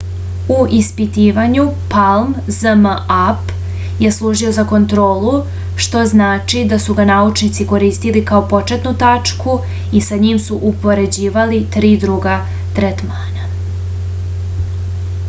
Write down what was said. u ispitivanju palm zmapp je služio za kontrolu što znači da su ga naučnici koristili kao početnu tačku i sa njim su upoređivali tri druga tretmana